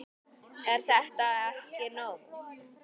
Er þetta ekki komið nóg?